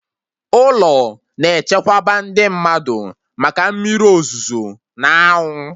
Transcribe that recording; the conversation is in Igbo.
Ụlọ na-echekwaba ndị mmadụ maka mmiri ozuzo n'anwụ